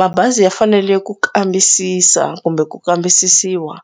Mabazi ya fanele ku kambisisa kumbe ku kambisisiwa